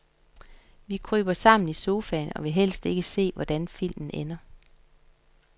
Vi kryber sammen i sofaen og vil helst ikke se, hvordan filmen ender.